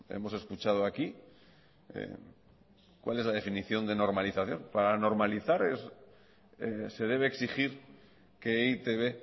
hemos escuchado aquí cuál es la definición de normalización para normalizar se debe exigir que e i te be